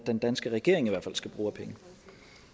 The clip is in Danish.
den danske regering i hvert fald skal bruge af penge